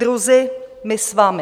Druzi, my s vami!